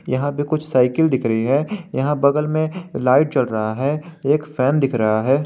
यहां पे कुछ साइकिल दिख रही है यहां बगल में लाइट जल रहा है एक फैन दिख रहा है।